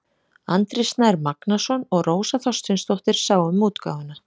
Andri Snær Magnason og Rósa Þorsteinsdóttir sáu um útgáfuna.